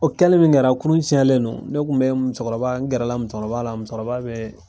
O kɛli min kɛra kurun tiɲɛlen don , ne kun be musokɔrɔba ne gɛrɛla musokɔrɔba la musokɔrɔba bɛ